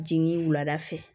Jiginni wulada fɛ